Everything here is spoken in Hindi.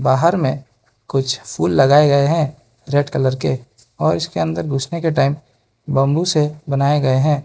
बाहर में कुछ फूल लगाए गए हैं रेड कलर के और इसके अंदर घुसने के टाइम बंबू से बनाए गए है।